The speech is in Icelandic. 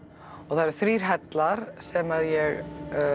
það eru þrír hellar sem ég